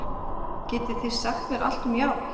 Getið þið sagt mér allt um járn?